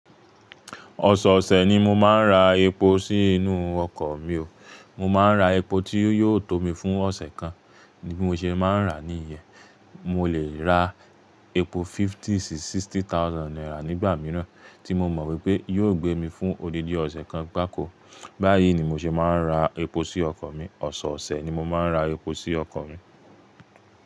Ọ̀sọ̀ọ̀ṣẹ̀ ni mo máa ń ra epo sí inú ọkọ̀ mi o. Mo máa ń ra epo tí yóò tó mi fún ọ̀ṣẹ̀ kan. Bí mo ṣe máa ń rà ní ìyẹ́, mo lè ra epo fifty si sixty thousand naira nígbà mìíràn tí mo mọ wípé yóò gbé mi fún odidi ọ̀ṣẹ̀ kan gbàkó. Báyìí ni mo ṣe máa ń ra epo sí ọkọ̀ mi. Ọ̀sọ̀ọ̀ṣẹ̀ ni mo máa ń ra epo sí ọkọ̀ mi.